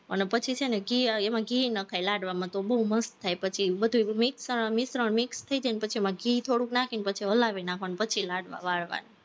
અને પછી છે ને ઘી, એમાં ઘી નખાય લાડવામાં તો બોવ મસ્ત થાય, પછી બધું mix મિશ્રણ mix થઇ જાય ને પછી એમાં ઘી થોડુંક નાખીને હલાવી નાખવાનું પછી લાડવા વાળવાના